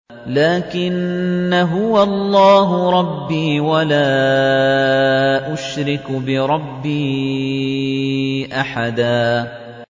لَّٰكِنَّا هُوَ اللَّهُ رَبِّي وَلَا أُشْرِكُ بِرَبِّي أَحَدًا